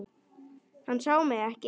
Hann sá mig ekki.